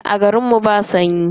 Aa, garin mu ba sanyi.